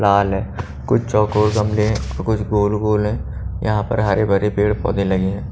लाल है कुछ चौकोर गमले हैं कुछ गोल-गोल हैं यहां पर हरे-भरे पेड़ पौधे लगे हैं।